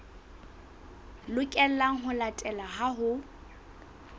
lokelang ho latelwa ha ho